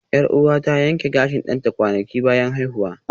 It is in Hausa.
Yar'uwata ta yanke gashin ɗanta kwanaki bayan haihuwa